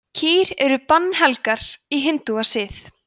kýr eru bannhelgar í hindúasið